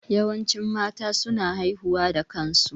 Yawancin mata su na haihuwa da kansu